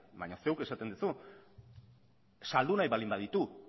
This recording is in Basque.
baina zeuk esaten duzu saldu egin nahi baldin baditu